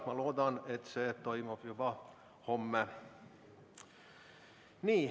Ma loodan, et see toimub juba homme.